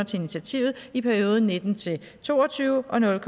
til initiativet i perioden nitten til to og tyve og nul